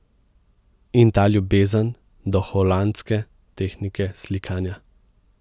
In ta ljubezen do holandske tehnike slikanja.